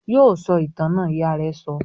"Yóò sọ ìtàn náà!" Ìyá rẹ sọ.